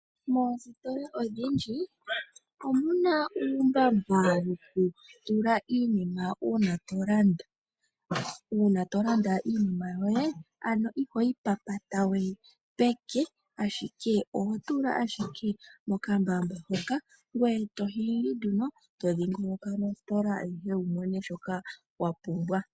Moositola odhindji omu na uumbamba wokutula iinima uuna to landa. Uuna to landa iinima yoye, ano ihoyi papata we peke, ashike oho tula ashike mokambamba hoka ngoye to hingi nduno to dhingoloka nositola ayihe wu mone shoka wa pumbwa.